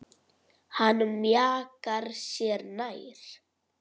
Hann mjakar sér nær.